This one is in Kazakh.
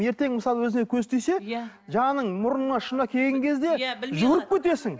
ертең мысалы өзіне көз тисе иә жаным мұрныңа ұшына келген кезде жүгіріп кетесің